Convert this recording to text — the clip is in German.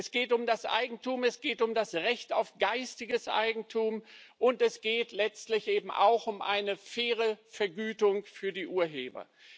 Es geht um das Eigentum, es geht um das Recht auf geistiges Eigentum, und es geht letztlich eben auch um eine faire Vergütung für die Urheber.